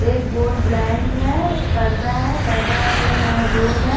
एक board blank है पर्दा है पर्दा कलर मेहरून है।